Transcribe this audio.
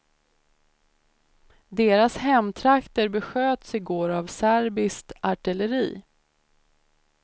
Deras hemtrakter besköts i går av serbiskt artilleri.